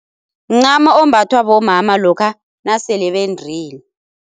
Mncamo ombathwa bomama lokha nasele bendile.